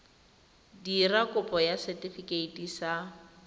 dira kopo ya setefikeiti sa